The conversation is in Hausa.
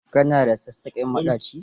Ka na da sassaƙen maɗaci?